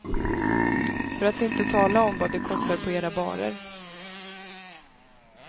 För att inte tala om vad det kostar på era barer.